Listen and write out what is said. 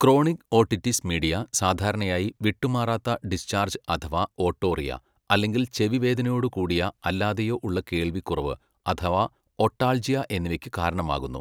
Chronic otitis media സാധാരണയായി വിട്ടുമാറാത്ത discharge അഥവാ ഓട്ടോറിയ, അല്ലെങ്കിൽ ചെവി വേദനയോട് കൂടിയോ അല്ലാതെയോ ഉള്ള കേൾവിക്കുറവ് അഥവാ ഒട്ടാൽജിയ എന്നിവയ്ക്കു കാരണമാകുന്നു.